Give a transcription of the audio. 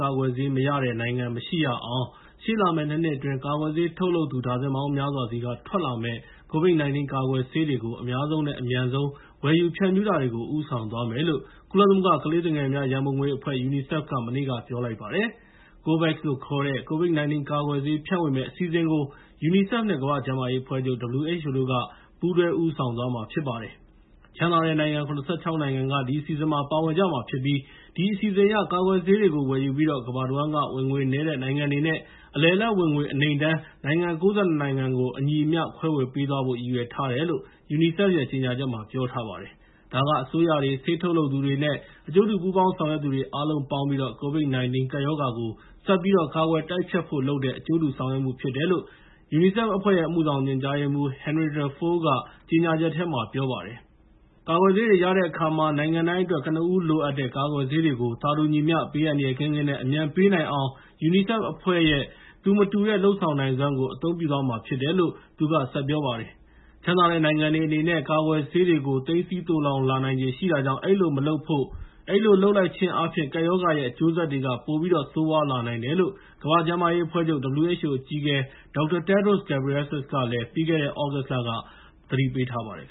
ကာကွယ်ဆေး မရတဲ့နိုင်ငံ မရှိရအောင် ရှေ့လာမယ့် ၂ နှစ်အတွင်း ကာကွယ်ဆေးထုတ်လုပ်သူ ဒါဇင်ပေါင်းများစွာဆီက ထွက်လာမယ့် COVID-19 ကာကွယ်ဆေးတွေကို အများဆုံးနဲ့ အမြန်ဆုံး ဝယ်ယူ ဖြန့်ဖြူးတာကို ဥိးဆောင်သွားမယ်လို့ ကုလသမဂ္ဂ ကလေးသူငယ်များရန်ပုံငွေအဖွဲ့ (UNICEF) က မနေ့က ပြောလိုက်ပါတယ်။ COVAX လို့ခေါ်တဲ့ COVID-19 ကာကွယ်ဆေးဖြန့်ဝေမယ့်အစီအစဉ်ကို UNICEF နဲ့ ကမ္ဘာ့ကျန်းမာရေးအဖွဲ့ချုပ် (WHO) တို့က ပူးတွဲဦးဆောင်သွားမှာဖြစ်ပါတယ်။ ချမ်းသာတဲ့နိုင်ငံ ၇၆ နိုင်ငံက ဒီအစီအစဉ်မှာ ပါဝင်ကြပြီး ဒီအစီအစဉ်အရ ကာကွယ်ဆေးတွေကို ဝယ်ယူပြီးတော့ ကမ္ဘာတဝန်းက ဝင်ငွေနည်းတဲ့နိုင်ငံတွေနဲ့ အလယ်အလတ်ဝင်ငွေ အနိမ့်တန်းနိုင်ငံ ၉၂ နိုင်ငံကို အညီအမျှခွဲဝေပေးသွားဖို့ ရည်ရွယ်ထားတယ်လို့ UNICEF ရဲ့ ကြေငြာချက်မှာ ပြောထားပါတယ်။ ဒါက အစိုးရတွေ၊ ဆေးထုတ်လုပ်သူတွေ နဲ့ အကျိူးတူပူးပေါင်းဆောင်ရွက်သူတွေ အားလုံးပေါင်းပြီး COVID-19 ကပ်ရောဂါကို ဆက်ပြီးတော့ ကာကွယ်တိုက်ဖျက်ဖို့လုပ်တဲ့ အကျိုးတူဆောင်ရွက်မှုဖြစ်တယ်လို့ UNICEF အဖွဲ့ရဲ့ အမှုဆောင်ညွှန်ကြားရေးမှူး Henrietta Fore က ကြေငြာချက်ထဲမှာ ပြောထားပါတယ်။ ကာကွယ်ဆေးတွေရတဲ့အခါမှာ နိုင်ငံတိုင်းအတွက် ကနဦးလိုအပ်နေတဲ့ ကာကွယ်ဆေးတွေကို သာတူညီမျှ ဘေးအန္တရာယ်ကင်းကင်းနဲ့ အမြန်ပေးနိုင်အောင် UNICEF အဖွဲ့ရဲ့ သူမတူတဲ့ လုပ်ဆောင်နိုင်စွမ်းကို အသုံးပြုသွားမှာဖြစ်တယ်လို့ သူက ဆက်ပြောပါတယ်။ ချမ်းသာတဲ့နိုင်ငံတွေအနေနဲ့ ကာကွယ်ဆေးတွေကို သိမ်းဆည်းသိုလှောင်လာနိုင်ခြေရှိ တာကြောင့် အဲဒီလိုမလုပ်ဖို့၊ အဲဒီလိုလုပ်လိုက်ခြင်းအားဖြင့် ကပ်ရောဂါရဲ့ အကျိုးဆက်တွေက ပိုပြီးတော့ ဆိုးရွားလာနိုင်တယ်လို့ ကမ္ဘာ့ကျန်းမာရေးအဖွဲ့ချုပ် (WHO) အကြီးအကဲ Dr. Tedros Ghebreyesus က ပြီးခဲ့တဲ့ သြဂုတ်လက ပြောထားပါတယ်။